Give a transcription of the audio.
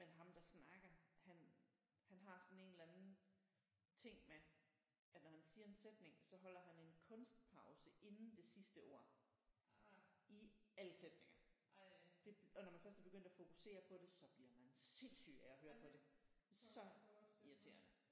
Men ham der snakker han han har sådan en eller anden ting med at når han siger en sætning så holder han en kunstpause inden det sidste ord i alle sætninger det og når man først er begyndt at fokusere på det så bliver man sindssyg af at høre på det så irriterende